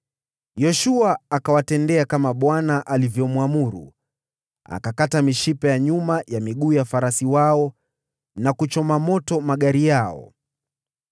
Yoshua akawatendea kama Bwana alivyoamuru. Akakata mishipa ya nyuma ya miguu ya farasi wao na kuchoma moto magari yao ya vita.